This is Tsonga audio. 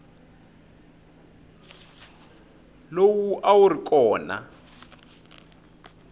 lowu a wu ri kona